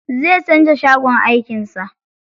Zai canza shagon aikin sa.